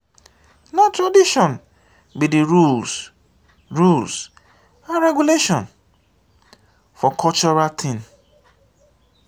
na tradition be de rules rules and regulations for cultural thing.